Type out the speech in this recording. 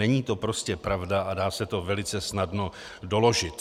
Není to prostě pravda a dá se to velice snadno doložit.